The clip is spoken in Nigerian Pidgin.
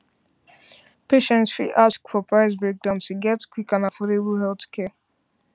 patients fit ask for price breakdown to get quick and affordable healthcare